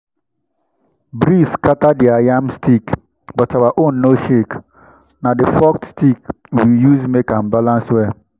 breeze scatter their yam stick but our own no shake—na the forked stick we use make am balance well.